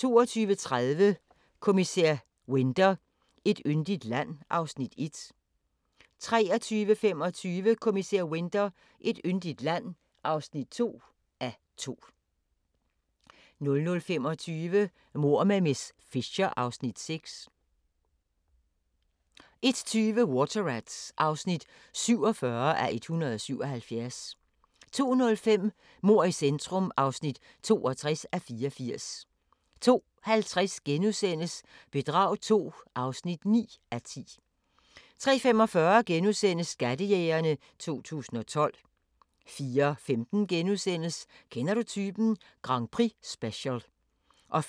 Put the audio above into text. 22:30: Kommissær Winter: Et yndigt land (1:2) 23:25: Kommissær Winter: Et yndigt land (2:2) 00:25: Mord med miss Fisher (Afs. 6) 01:20: Water Rats (47:177) 02:05: Mord i centrum (62:84) 02:50: Bedrag II (9:10)* 03:45: Skattejægerne 2012 * 04:15: Kender du typen? Grand Prix-special * 04:55: